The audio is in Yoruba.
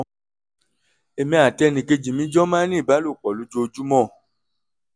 èmi àti ẹnìkejì mi jọ máa ń ní ìbálòpọ̀ lójoojúmọ́